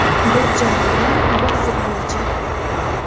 Bir jamoadan bir futbolchi.